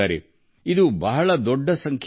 ಇದು ನಿಜಕ್ಕೂ ಬಹಳ ದೊಡ್ಡ ಸಂಖ್ಯೆ